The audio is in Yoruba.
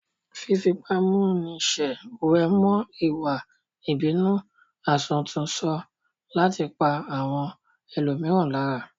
Fífipámúniṣe wé mọ́ ìwà ìbínú àsọtúnsọ láti pa àwọn ẹlòmíràn lára